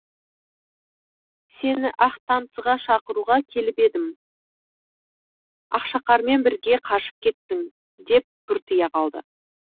сені ақ танцыға шақыруға келіп едім ақшақармен бірге қашып кеттің деп бұртия қалды